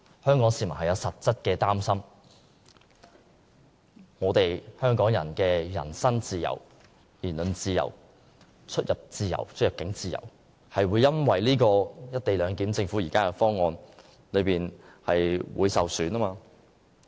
香港市民對此有實質的擔心，憂慮香港人的人身自由、言論自由、出入境自由會因為政府現時提出的"一地兩檢"方案而受損。